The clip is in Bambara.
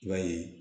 I b'a ye